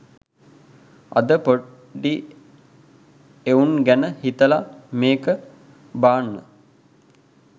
අද පොඩි එවුන් ගැන හිතලා මේක බාන්න.